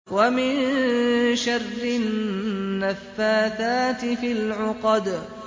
وَمِن شَرِّ النَّفَّاثَاتِ فِي الْعُقَدِ